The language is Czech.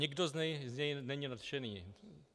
Nikdo z něj není nadšený.